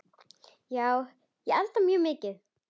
Já, ég elda mjög mikið.